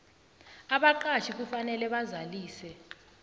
abaqatjhi kufanele bazalise